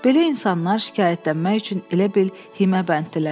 Belə insanlar şikayətlənmək üçün elə bil himəbənddilər.